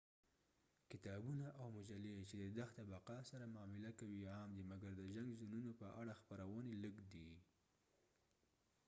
کتابونه او مجلې چې د دښته بقا سره معامله کوي عام دي مګر د جنګ زونونو په اړه خپرونې لږ دي